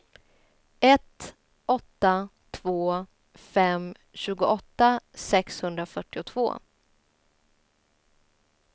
ett åtta två fem tjugoåtta sexhundrafyrtiotvå